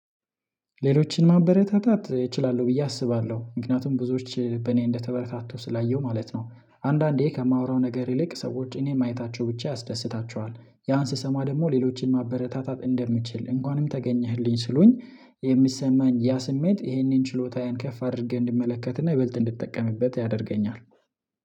ሌሎችን ማበረታታት እችላለሁ ብዬ አስባለሁ ምክንያቱም ብዙዎች በእኔ እንደተበረታቱ ስላየሁ ማለት ነው። አንዳንዴ ከማወራው ነገር ይልቅ ሰዎች እኔን ማየታቸው ብቻ ያስደስታቸዋል ያን ስሰማ ደግሞ ሌሎችን ማበረታታት እንደምችል እንኳንም ተገኘህልኝ ሲሉኝ። የሚሰማኝ ያ ስሜት ይሄንን ችሎታየን ከፍ አድርገህ እንድመለከትና ይበልጥ እንድጠቀምበት ያደርገኛል